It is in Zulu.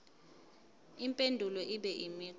impendulo ibe imigqa